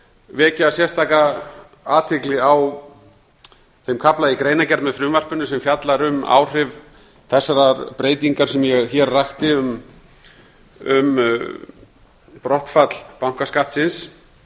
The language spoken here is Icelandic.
vekja sérstaka athygli á þeim kafla í greinargerð með frumvarpinu sem fjallar um áhrif þessarar breytingar sem ég hér rakti um brottfall bankaskattsins